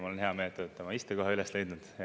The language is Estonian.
Ja mul on hea meel, et te olete oma istekoha üles leidnud.